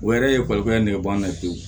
O yɛrɛ ye ekɔlikara ye nɛgɛban na pewu